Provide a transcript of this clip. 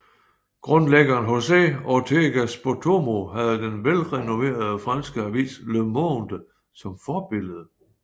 Grundlæggeren José Ortega Spottorno havde den velrenommerede franske avis Le Monde som forbillede